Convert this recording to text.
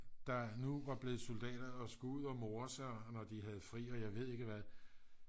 der nu var blevet soldater og skulle ud at more sig og jeg ved ikke hvad